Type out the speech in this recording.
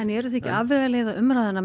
eruð þið ekki að afvegaleiða umræðuna